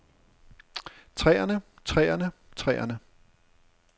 træerne træerne træerne